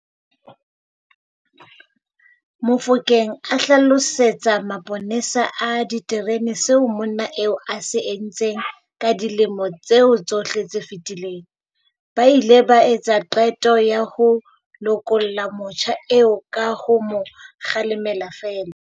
Mofokeng a hlalosetsa maponesa a ditereneng seo monna eo a se entseng ka dilemo tseo tsohle tse fetileng, ba ile ba etsa qeto ya ho lokolla motjha eo ka ho mo kgalema feela.